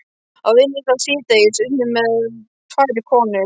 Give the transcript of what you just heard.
Á vinnustað síðdegis unnu með mér tvær konur.